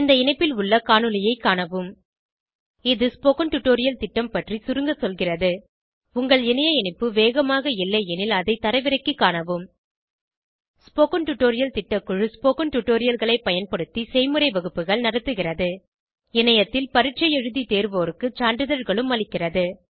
இந்த இணைப்பில் உள்ள காணொளியைக் காணவும் இது ஸ்போகன் டுடோரியல் திட்டம் பற்றி சுருங்க சொல்கிறது உங்கள் இணைய இணைப்பு வேகமாக இல்லையெனில் அதை தரவிறக்கிக் காணவும் ஸ்போகன் டுடோரியல் திட்டக்குழு ஸ்போகன் டுடோரியல்களைப் பயன்படுத்தி செய்முறை வகுப்புகள் நடத்துகிறது இணையத்தில் பரீட்சை எழுதி தேர்வோருக்கு சான்றிதழ்களும் அளிக்கிறது